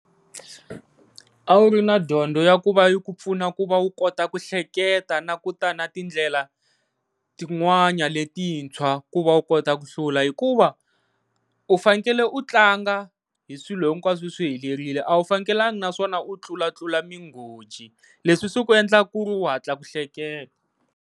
A wu ri na dyondzo ya ku va i ku pfuna ku va wu kota ku hleketa na kuta na tindlela tin'wana letintshwa ku va u kota ku hlula, hikuva u fanekele u tlanga hi swilo hinkwaswo swihelerile a wu fanekelangi naswona u tlulatlula migoji leswi swi ku endlaka ku ri u hatla ku hleketa.